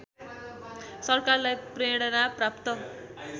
सरकारलाई प्रेरणा प्राप्त